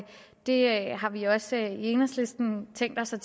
og det har vi også i enhedslisten tænkt os at